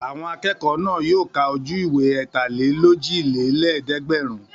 Àwọn akẹ́kọ̀ọ́ náà yóò ka ojú-ìwé ẹ̀tàlélójìlélẹ́ẹ̀dẹ́gbẹ̀rún.